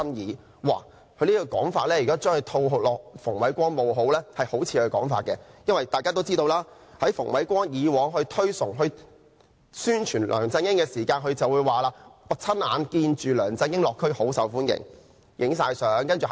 如果把他這種說法套在馮煒光身上，也像是馮煒光本身會說的話，因為大家都知道，馮煒光以往推崇、宣傳梁振英的時候，會說"我親眼目睹梁振英落區大受歡迎，亦拍攝了照片"。